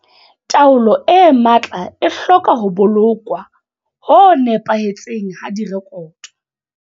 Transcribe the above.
Taolo e matla e hloka ho bolokwa ho nepahetseng ha direkoto.